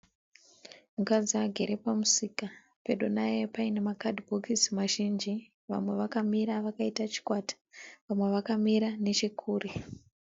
Mukadzi agere pamusika pedu naye pane makadhibokisi mazhinji. Vamwe vakamira vakaita chikwata . Vamwe vakamira nechekure .